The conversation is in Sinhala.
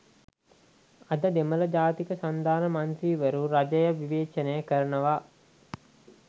අද දෙමළ ජාතික සන්ධාන මන්ත්‍රීවරු රජය විවේචනය කරනවා